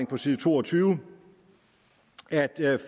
på side to og tyve at